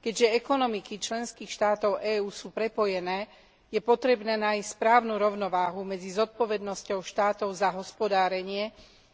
Keďže ekonomiky členských štátov EÚ sú prepojené, je potrebné nájsť správnu rovnováhu medzi zodpovednosťou štátov za hospodárenie